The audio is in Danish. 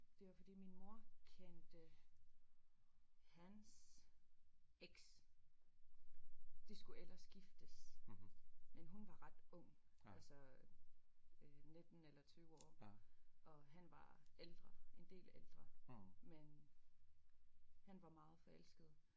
Det var fordi min mor kendte hans eks de skulle ellers giftes men hun var ret ung altså øh 19 eller 20 år og han var ældre en del ældre men han var meget forelsket